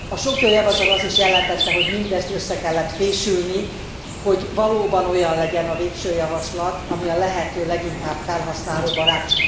A sok jó javaslat azt is jelentette, hogy mindezt össze kellett fésülni, hogy valóban olyan legyen a végső javaslat, ami a lehető leginkább felhasználóbarát.